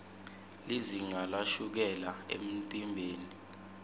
lizinga lashukela emtimbeni